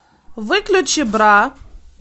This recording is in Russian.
выключи бра